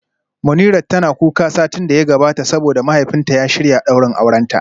Munirat tana kuka satin da ya gabata saboda mahaifinta ya shirya daurin aurenta